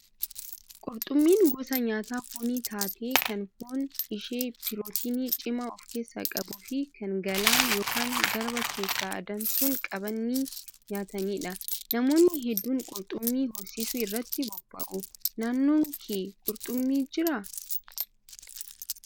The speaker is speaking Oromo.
Qurxummiin gosa nyaata foonii taatee kan foon ishee pirootinii cimaa of keessaa qabuu fi kan gaalana yookaan garba keessaa adamsuun qabanii nyaatanidha. Namoonni hedduun qurxummii horsiisuu irratti bobba'u. Naannoo kee qurxummiin jiraa?